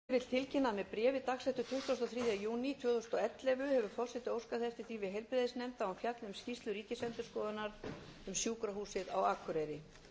forseti vill tilkynna að með bréfi dagsettu tuttugasta og þriðja júní tvö þúsund og ellefu hefur forseti óskað þess við